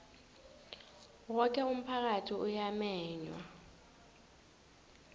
woke umphakathi uyamenywa